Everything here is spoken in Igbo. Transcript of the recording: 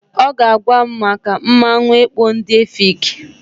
Ọ ga-agwa m maka mmanwụ ekpo ndị Efik.